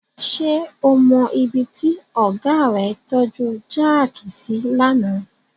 Ṣé o mọ ibi tí ọ̀gá rẹ tọ́ju jáàkì sí lánàá?